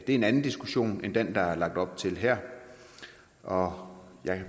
en anden diskussion end den der er lagt op til her og